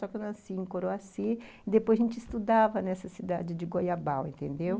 Só que eu nasci em Coroaci e depois a gente estudava nessa cidade de Goiabau, entendeu?